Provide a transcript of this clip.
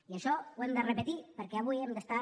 i això ho hem de repetir perquè avui hem d’estar